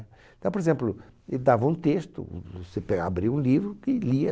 Então, por exemplo, ele dava um texto, vo você pega abria o livro e lia.